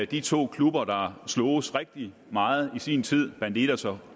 de to klubber der sloges rigtig meget i sin tid bandidos og